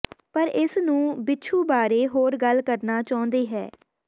ਪਰ ਇਸ ਨੂੰ ਬਿਛੁ ਬਾਰੇ ਹੋਰ ਗੱਲ ਕਰਨਾ ਚਾਹੁੰਦੇ ਹੈ